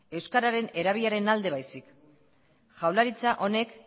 euskararen erabileraren alde baizik jaurlaritza honek